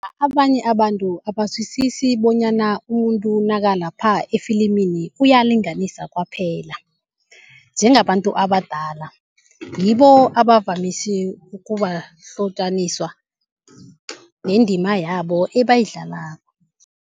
Abanye abantu abazwisisi bonyana umuntu nakalapha efilimini uyalinganisa kwaphela, njengabantu abadala. Ngibo abavamise ukuwahlotjaniswa nendima yabo ebayidlalako.